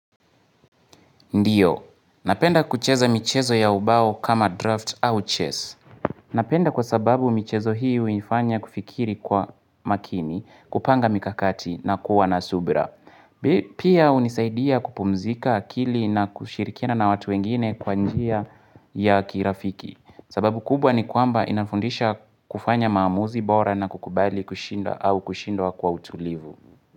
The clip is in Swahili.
Ndiyo. Napenda kucheza michezo ya ubao kama draft au chess. Napenda kwa sababu michezo hii huinfanya kufikiri kwa makini kupanga mikakati na kuwa na subra. Pia hunisaidia kupumzika akili na kushirikina na watu wengine kwa njia ya kirafiki. Sababu kubwa ni kwamba inafundisha kufanya maamuzi bora na kukubali kushindwa au kushindwa kwa utulivu.